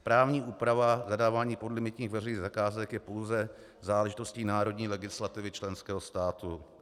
Právní úprava zadávání podlimitních veřejných zakázek je pouze záležitostí národní legislativy členského státu.